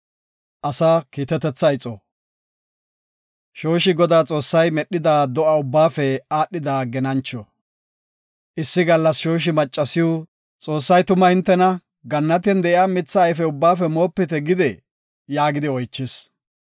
Shooshi Godaa Xoossay medhida do7a ubbaafe aadhida genancho. Issi gallas shooshi maccasiw, “Xoossay tuma hintena, ‘Gannatiyan de7iya mitha ayfe ubbaafe moopite’ gidee?” yaagidi oychis.